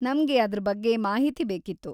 ನಮ್ಗೆ ಅದ್ರ ಬಗ್ಗೆ ಮಾಹಿತಿ ಬೇಕಿತ್ತು.